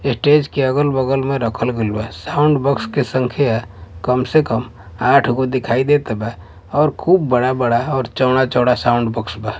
Stage के अगल-बगल में रखल गइल बा साउंड बॉक्स के संख्या कम से कम आठ गो दिखाई देत बा और खूब बड़ा-बड़ा और चौड़ा-चौड़ा साउंड बॉक्स बा।